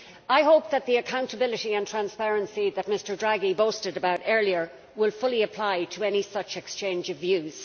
I hope that the accountability and transparency that Mr Draghi boasted about earlier will fully apply to any such exchange of views.